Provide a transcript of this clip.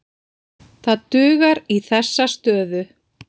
Það dugar í þessa stöðu.